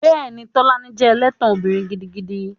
Bẹ́ẹ̀ni, Tolani jẹ́ ẹlẹ́tàn obìnrin gidigidi